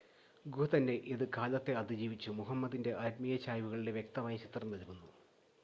ഗുഹ തന്നെ അത് കാലത്തെ അതിജീവിച്ചു മുഹമ്മദിൻ്റെ ആത്മീയ ചായ്‌വുകളുടെ വ്യക്തമായ ചിത്രം നൽകുന്നു